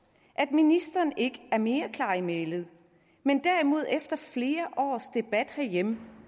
at ministeren ikke er mere klar i mælet men derimod efter flere års debat herhjemme